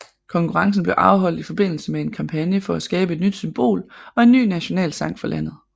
Konkurrencen blev afholdt i forbindelse med en kampagne for at skabe et nyt symbol og en ny nationalsang for landet